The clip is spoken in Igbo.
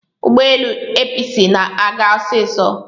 ụgbọelu Episi na-aga osiso